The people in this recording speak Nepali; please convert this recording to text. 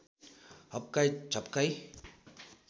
हप्काई झप्काई